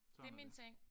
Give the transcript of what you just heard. Sådan er det